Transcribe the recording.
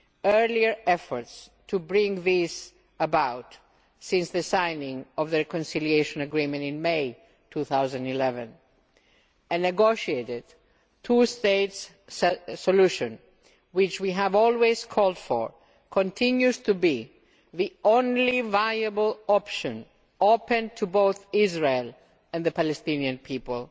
earlier efforts to bring this about since the signing of the reconciliation agreement in May 2011. A negotiated two state solution which we have always called for continues to be the only viable option open to both Israel and the Palestinian people.